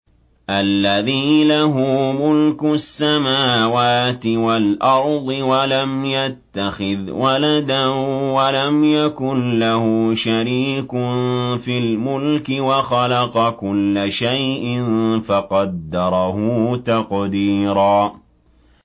الَّذِي لَهُ مُلْكُ السَّمَاوَاتِ وَالْأَرْضِ وَلَمْ يَتَّخِذْ وَلَدًا وَلَمْ يَكُن لَّهُ شَرِيكٌ فِي الْمُلْكِ وَخَلَقَ كُلَّ شَيْءٍ فَقَدَّرَهُ تَقْدِيرًا